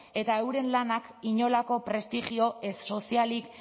eta euren lanak inolako prestigioa ez sozialik